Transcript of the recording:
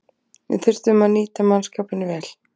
Við þurftum að nýta mannskapinn vel